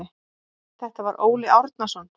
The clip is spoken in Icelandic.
Þetta var Óli Árnason.